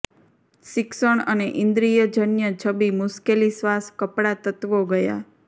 શિક્ષણ અને ઈન્દ્રિયજન્ય છબી મુશ્કેલી શ્વાસ કપડાં તત્વો ગયા